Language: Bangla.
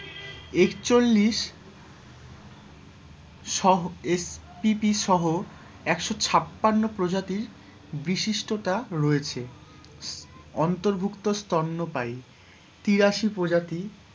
একচল্লিশ সহ এক পিপি সহ, একশো ছাপ্পান্ন প্রজাতির বিশিষ্টতা রয়েছে, অন্তর্ভুক্ত স্তন্যপায়ী তিরাশি প্রজাতি,